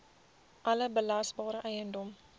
alle belasbare eiendom